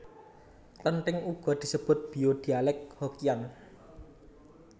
Klenthèng uga disebut bio dhialek Hokkian